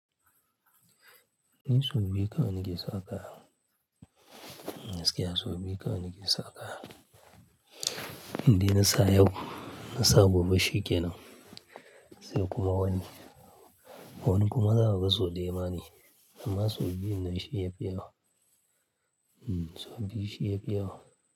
Ni sau biyu kawai nake sa kaya. Gaskiya sau biyu kawai nake sa kaya. Inda na sa yau, na sa gobe shi kenan. Sai kuma wani, wani kuma za a ga sau daya ma ne. Amma sau biyu nan shi ya fi yawa. Hmm, sau biyu shi ya fi yawa.